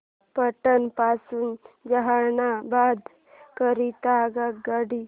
पटना पासून जहानाबाद करीता आगगाडी